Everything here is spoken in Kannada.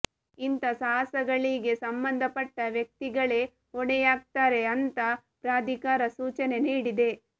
ಇಂತಾ ಸಾಹಸಗಳಿಗೆ ಸಂಬಂಧಪಟ್ಟ ವ್ಯಕ್ತಿಗಳೇ ಹೊಣೆಯಾಗ್ತಾರೆ ಅಂತ ಪ್ರಾಧಿಕಾರ ಸೂಚನೆ ನೀಡಿದೆ